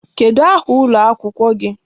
Kedụ aha ụlọ akwụkwọ gị?